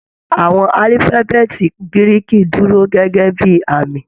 Àwọn alifabeeti Giriki dúró gẹgẹ bíi àmì.